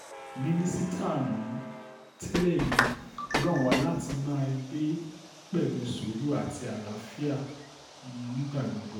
mínísítà um tẹ́lẹ̀ yìí rọ̀ wọ́n láti máa gbé pẹ̀lú sùúrù àti àlàáfíà um nígbà gbogbo